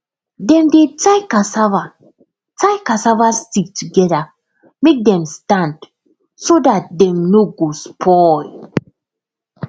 dem de tie cassava tie cassava stick together make them stand so that dem no go spoil